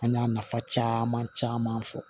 An y'a nafa caman fɔ